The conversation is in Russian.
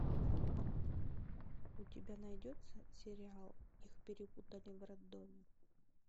у тебя найдется сериал их перепутали в роддоме